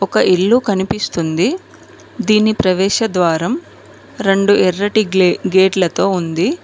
ఒక ఇల్లు కనిపిస్తుంది దీని ప్రవేశ ద్వారం రెండు ఎర్రటి గ్లే గేట్లతో ఉంది.